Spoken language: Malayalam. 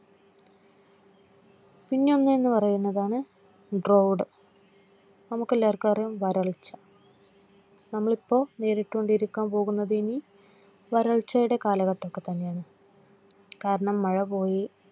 പിന്നെ ഒന്ന് പറയുന്നതാണ് drod മുക്കെല്ലാവർക്കും അറിയാം വരൾച്ച നമ്മൾ ഇപ്പോൾ ഇനി നേരിട്ട്കൊണ്ടിരിക്കാൻ പോകുന്നത്ഇനി വരൾച്ചയുടെ കാലഘട്ടൊക്കെ തന്നെയാണ് കാരണം മഴ പോയി.